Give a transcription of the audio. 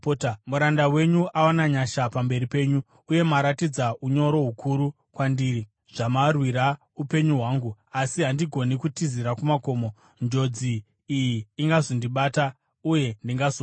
Muranda wenyu awana nyasha pamberi penyu, uye maratidza unyoro hukuru kwandiri zvamarwira upenyu hwangu. Asi handigoni kutizira kumakomo; njodzi iyi ingazondibata, uye ndingazofa.